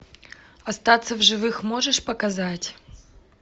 остаться в живых можешь показать